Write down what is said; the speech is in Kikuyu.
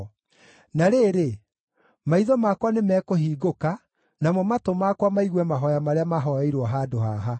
Na rĩrĩ, maitho makwa nĩmekũhingũka, namo matũ makwa maigue mahooya marĩa mahooeirwo handũ haha.